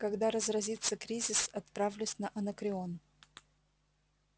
когда разразится кризис отправлюсь на анакреон